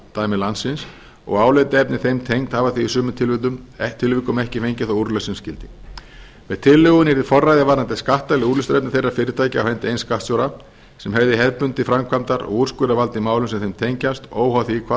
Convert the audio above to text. skattumdæmi landsins og álitaefni þeim tengd hafa í sumum tilvikum ekki fengið þá úrlausn sem skyldi með tillögunni yrði forræði varðandi skattaleg úrlausnarefni þeirra fyrirtækja á hendi eins skattstjóra sem hefði hefðbundið framkvæmdar og úrskurðarvald í málum sem þau tengjast óháð því hvar á